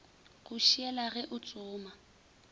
go šiela ge o tsoma